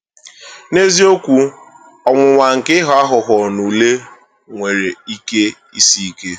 N’eziokwu, ọnwụnwa nke ịghọ aghụghọ n’ule nwere ike isi ike.